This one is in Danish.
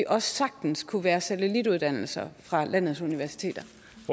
også sagtens kunne være satellituddannelser fra landets universiteter